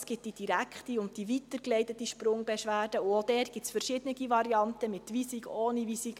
Es gibt die direkte und die weitergeleitete Sprungbeschwerde, und auch dort gibt es verschiedene Varianten, mit Weisung oder ohne Weisung.